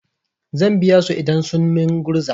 Zan biya su idan sun min gurza.